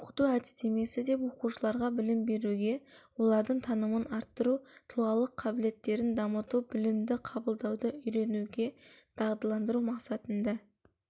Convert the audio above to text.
оқыту әдістемесі деп оқушыларға білім беруде олардың танымын арттыру тұлғалық қабілеттерін дамыту білімді қабылдауды үйренуге дағдыландыру мақсатында